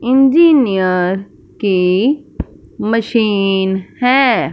Engineer के machine है।